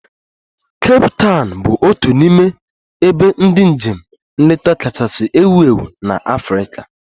Kape Tawn bụ otu n'ime ebe ndị njem nleta kachasị ewu ewu na Africa